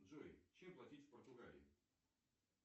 джой чем платить в португалии